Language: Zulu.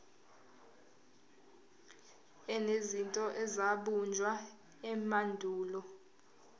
enezinto ezabunjwa emandulo